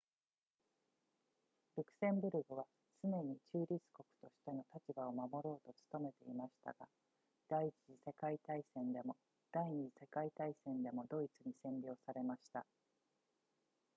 ルクセンブルクは常に中立国としての立場を守ろうと努めていましたが第一次世界大戦でも第二次世界大戦でもドイツに占領されました